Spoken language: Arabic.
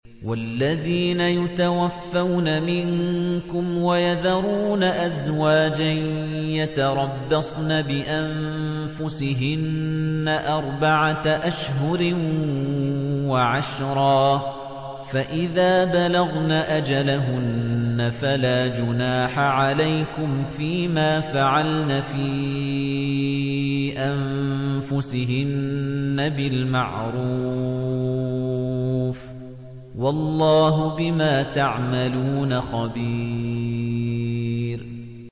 وَالَّذِينَ يُتَوَفَّوْنَ مِنكُمْ وَيَذَرُونَ أَزْوَاجًا يَتَرَبَّصْنَ بِأَنفُسِهِنَّ أَرْبَعَةَ أَشْهُرٍ وَعَشْرًا ۖ فَإِذَا بَلَغْنَ أَجَلَهُنَّ فَلَا جُنَاحَ عَلَيْكُمْ فِيمَا فَعَلْنَ فِي أَنفُسِهِنَّ بِالْمَعْرُوفِ ۗ وَاللَّهُ بِمَا تَعْمَلُونَ خَبِيرٌ